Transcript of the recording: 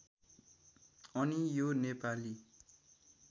अनि यो नेपाली